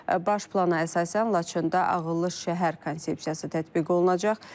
Baş plana əsasən Laçında ağıllı şəhər konsepsiyası tətbiq olunacaq.